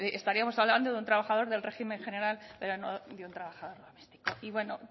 estaríamos hablando de un trabajador del régimen general pero ya no de un trabajador doméstico y bueno